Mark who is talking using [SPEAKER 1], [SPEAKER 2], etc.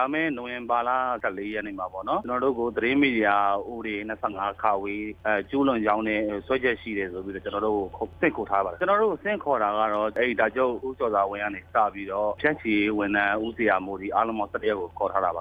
[SPEAKER 1] ာမယ့် နိုဝင်ဘာလ ၁၄ ရက်နေ့ မှာပေါ့နော် ကျနော်တို့ကို သတင်းမီဒီယာဥပဒေ ၂၅ ကျူးလွန်ကြောင်း စွဲချက်ရှိတယ်ဆိုပြီး ဆင့်ခေါ်ထားပါတယ်၊ ကျနော်တို့ကို ဆင့်ခေါ်တာ ကတော့ အယ်ဒီတာချုပ် ဦးကျော်စွာဝင်း ကနေစပြီးတော့ ဖြန့်ချီရေးဝန်ထမ်း ဦးဇေယျာမိုးအထိ အားလုံးပေါင်း ၁၁ ယောက်ကို
[SPEAKER 2] ခေါ်ထားတာပါ